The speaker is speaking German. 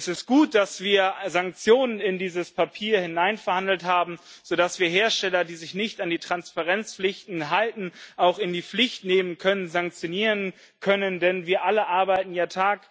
Es ist gut, dass wir Sanktionen in dieses Papier hineinverhandelt haben, sodass wir Hersteller, die sich nicht an die Transparenzpflichten halten, auch in die Pflicht nehmen, sanktionieren können, denn wir alle arbeiten ja Tag